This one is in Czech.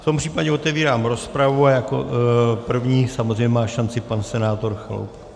V tom případě otevírám rozpravu a jako první samozřejmě má šanci pan senátor Chaloupek.